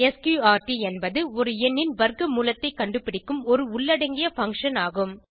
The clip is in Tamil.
ஸ்க்ரூட் என்பது ஒரு எண்ணின் வர்க்க மூலத்தைக் கண்டுபிடிக்கும் ஒரு உள்ளடங்கிய பங்ஷன் ஆகும்